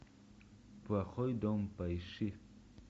плохой дом поищи